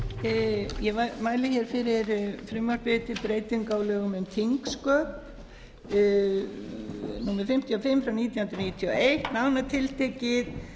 virðulegi forseti ég mæli hér fyrir frumvarpi til breytinga á lögum um þingsköp númer fimmtíu og fimm nítján hundruð níutíu og eitt nánar tiltekið